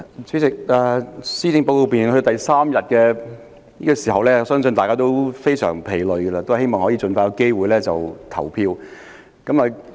主席，來到施政報告辯論的第三天，相信大家也非常疲累，希望可以盡快有機會投票。